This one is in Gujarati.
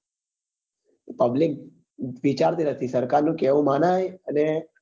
વિચારતી રેતી સરકાર નું કહેવું માને અને